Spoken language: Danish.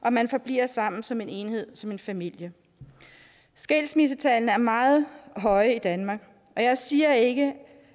og man forbliver sammen som en enhed som en familie skilsmissetallene er meget høje i danmark og jeg siger ikke